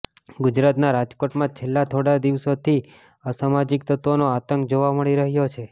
ગુજરાતના રાજકોટમાં છેલ્લા થોડા દિવસોથી અસામાજિક તત્વોનો આતંક જોવા મળી રહ્યો છે